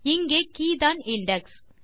இங்கே கே தான் இண்டெக்ஸ்